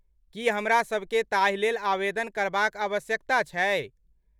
की हमरासभकेँ ताहि लेल आवेदन करबाक आवश्यकता छै?